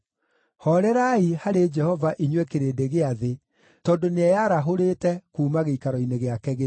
Hoorerai harĩ Jehova inyuĩ kĩrĩndĩ gĩa thĩ tondũ nĩeyarahũrĩte kuuma gĩikaro-ini gĩake gĩtheru.